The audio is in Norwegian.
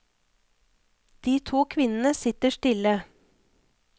De to kvinnene sitter stille.